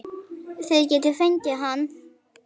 Þið getið fengið hann